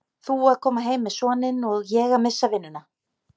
Þú að koma heim með soninn og ég að missa vinnuna.